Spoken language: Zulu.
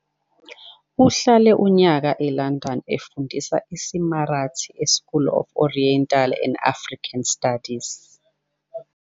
Uhlale unyaka eLondon efundisa isiMarathi eSchool of Oriental and African Studies.